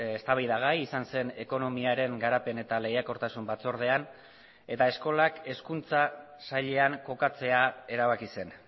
eztabaidagai izan zen ekonomiaren garapen eta lehiakortasun batzordean eta eskolak hezkuntza sailean kokatzea erabaki zen